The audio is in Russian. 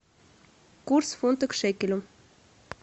курс фунта к шекелю